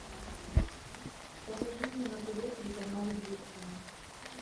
покажи мне на тв телеканал известия